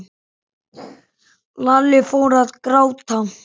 Lalli fór að gráta.